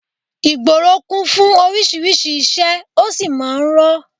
Ìgboro kún fún oríṣiríṣi ìṣe, ó sì máa ń rọ́